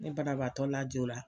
Ne banabaatɔ lajo la.